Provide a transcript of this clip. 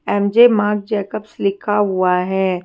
M- J Marc Jacobs लिखा हुआ है।